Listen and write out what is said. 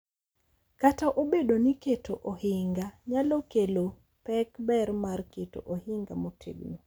Kata obedo ni keto ohinga nyalo kelo pek, ber mar keto ohinga motegno,